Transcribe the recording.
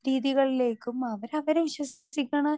speaker 2 രീതികളിലേക്കും അവര് അവര് വിശ്വസിക്കണ